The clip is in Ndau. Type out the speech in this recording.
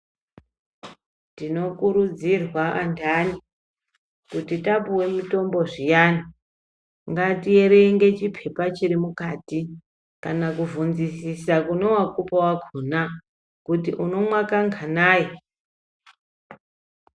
Tinokurudzirwa andani kuti tapuwe mutombo zviyani ngatierenge chipepa chiri mukati kana kuvhunzisisa kune wakupa wakona kuti unomwa kanganayi